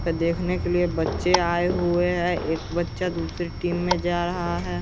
ये देखेने के लिए बच्चे आये हुए एक बच्चा दूसरे टीम में जा रहा है।